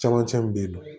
Camancɛ min bɛ yen nɔ